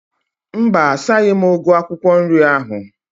Mba, asaghi m ugu akwụkwọ nri ahu